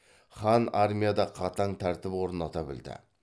хан армияда қатаң тәртіп орната білді